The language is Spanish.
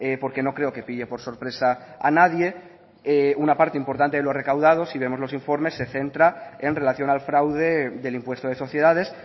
porque no creo que pille por sorpresa a nadie una parte importante de lo recaudado si vemos los informes se centra en relación al fraude del impuesto de sociedades